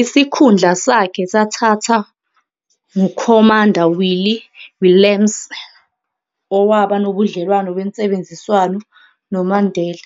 Isikhundla sakhe sathatha nguKhomanda Willie Willemse, owaba nobudlelwane bensebenziswano noMandela,